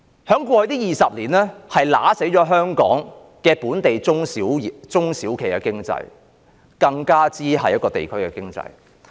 在過去20年，這是殺死香港本地中小企經濟，甚或地區經濟的原因。